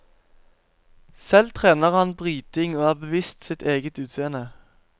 Selv trener han bryting og er bevisst sitt eget utseende.